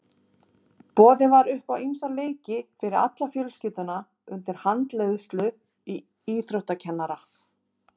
Boðið var upp á ýmsa leiki fyrir alla fjölskylduna undir handleiðslu íþróttakennara.